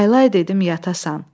Laylay dedim yatasana.